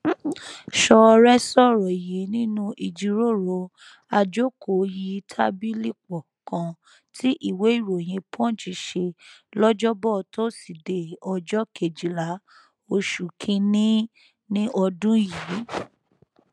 ṣọọrẹ sọrọ yìí nínú ìjíròrò àjókòóyítàbìlìpọ kan tí ìwéèròyìn punch ṣe lọjọbọ tósídéé ọjọ kejìlá oṣù kínínní ọdún yìí